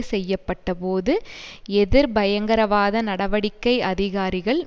செய்ய பட்டபோது எதிர்பயங்கரவாத நடவடிக்கை அதிகாரிகள்